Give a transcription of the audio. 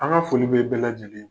An ka foli bɛ bɛɛ lajɛlen ye.